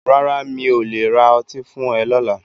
Rárá mi o le ra ọtí fún e lọla.